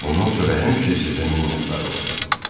Bundan sonra həmişə sizə minnətdar olacam.